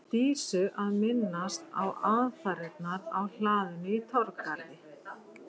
Dísu að minnast á aðfarirnar á hlaðinu í Torfgarði.